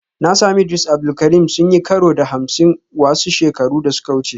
Na sami Idris Abdul Karim sun yi karo da Hamsin wasu shekaru da suka wuce